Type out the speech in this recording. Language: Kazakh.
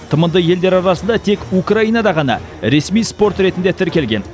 тмд елдері арасында тек украинада ғана ресми спорт ретінде тіркелген